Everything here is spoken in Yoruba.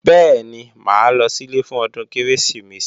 Bẹ́ẹ̀ni, mà á lọ sílé fún ọdún Kérésìmesì